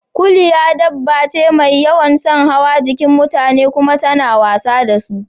Kuliya dabba ce mai yawan son hawa jikin mutane kuma tana wasa da su